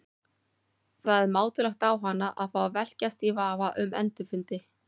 Það er mátulegt á hana að fá að velkjast í vafa um endurfundi.